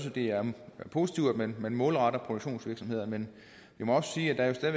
at det er positivt at man målretter det produktionsvirksomheder men jeg må også sige at der